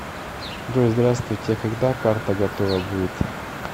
джой здравствуйте а когда карта готова будет